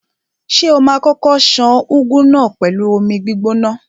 Ṣé o ma kókó ṣan úgú náà pẹ̀lú omi gbígbóná?